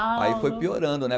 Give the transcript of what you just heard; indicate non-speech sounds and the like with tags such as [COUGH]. [UNINTELLIGIBLE] aí foi piorando, né?